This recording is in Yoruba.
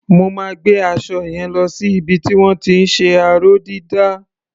Mo máa gbé aṣọ yẹn lo sí ibi tí wọ́n ti ń ṣe aró-dídà.